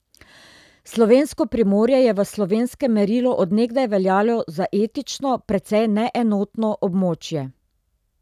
Slovensko Primorje je v slovenskem merilu od nekdaj veljalo za etično precej neenotno območje.